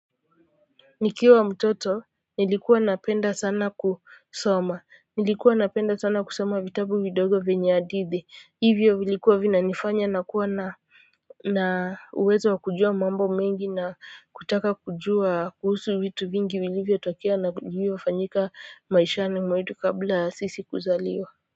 Nikiwa mtoto nilikuwa napenda sana kusoma nilikuwa napenda sana kusoma sana vitabu vidogo vyenye hadithi hivyo vilikuwa vinanifanya nakuwa na na uwezo wa kujua mambo mengi na kutaka kujua kuhusu vitu vingi vilivyotokea na vilivyofanyika maishani mwetu kabla ya sisi kuzaliwa.